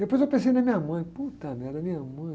Depois eu pensei na minha mãe, merda, minha mãe.